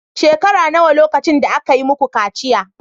Shekara nawa lokacin da aka yi muku kaciya